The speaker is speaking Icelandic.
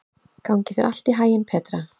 Gangi þér allt í haginn, Petra.